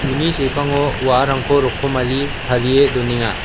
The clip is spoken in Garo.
uni sepango wa·arangko rokomari tarie donenga.